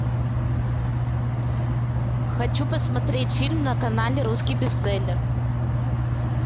хочу посмотреть фильм на канале русский бестселлер